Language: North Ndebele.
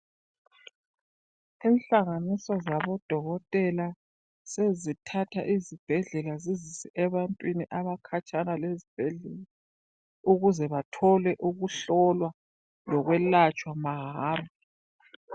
Inhlanganiso zabodokotela sezithatha izibhedlela zizise ebantwini abakhatshana lezibhedlela ukuze bathole ukuhlolwa lokwelatshwa mahara.